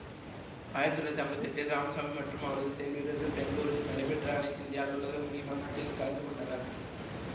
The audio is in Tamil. ஆயிரத்தி தொள்ளாயிரத்தி ஐம்பத்தி எட்டில் இராமசாமி மற்றும் அவரது செயல்வீரர்கள் பெங்களூரில் நடைபெற்ற அனைத்திந்திய அலுவலக மொழி மாநாட்டில் கலந்துகொண்டனர்